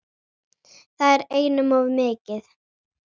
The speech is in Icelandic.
Það er einum of mikið.